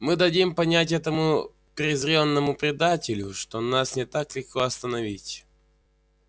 мы дадим понять этому презренному предателю что нас не так легко остановить